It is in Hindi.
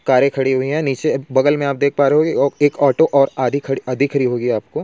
कारे खड़ी हुई है नीचे बगल मैं आप देख पा रहे होगे एक ऑटो